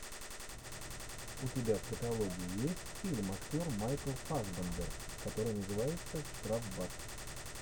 у тебя в каталоге есть фильм актер майкл фассбендер который называется штрафбат